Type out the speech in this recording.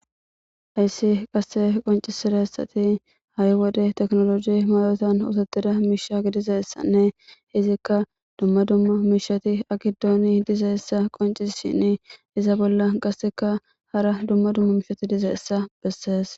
hayssi qasse qoncisirassati hayi wode teknoloji mayotan osotida miishagi dizaessanne izikka dumma dumma miishati akidooni diza essa qonci shin iza bolla qasseka hara dumma dumma mishati dizaessa bessees